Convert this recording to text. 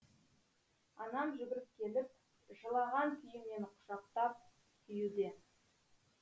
анам жүгіріп келіп жылаған күйі мені құшақтап сүюде